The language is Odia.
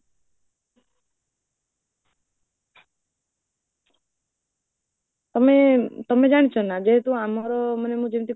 ତମେ ତମେ ଜାଣିଛ ନା, ଯେହେତୁ ଆମର ମାନେ ମୁଁ ଯେମିତି